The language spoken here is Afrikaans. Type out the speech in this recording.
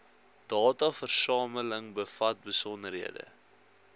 dataversameling bevat besonderhede